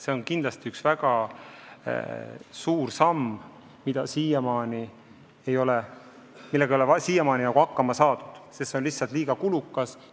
See on kindlasti väga suur samm, millega ei ole siiamaani hakkama saadud, sest seda on peetud liiga kulukas.